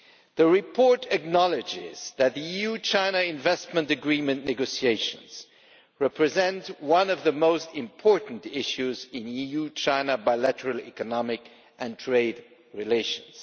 The report acknowledges that the EU China Investment Agreement negotiations represent one of the most important issues in EU China bilateral economic and trade relations.